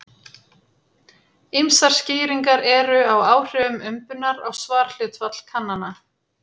Ýmsar skýringar eru á áhrifum umbunar á svarhlutfall kannana.